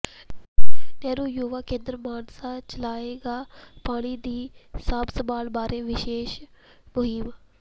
ਨਹਿਰੂ ਯੁਵਾ ਕੇਂਦਰ ਮਾਨਸਾ ਚਲਾਏਗਾ ਪਾਣੀਆਂ ਦੀ ਸਾਂਭ ਸੰਭਾਲ ਬਾਰੇ ਵਿਸ਼ੇਸ ਮੁਹਿੰਮ